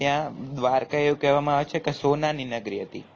ત્યાં દ્વારકા એવું કહેવામાં આવે છે કે સોનાની નગરી હતી